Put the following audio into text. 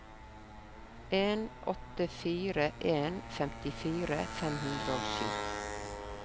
en åtte fire en femtifire fem hundre og sju